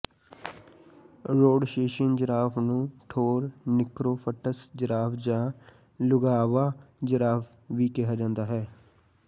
Rhodesian giraffe ਨੂੰ Thornicroft's giraffe ਜਾਂ Luangwa giraffe ਵੀ ਕਿਹਾ ਜਾਂਦਾ ਹੈ